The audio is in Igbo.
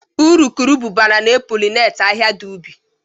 Urukurubụba na e polineti ahịhịa dị ubi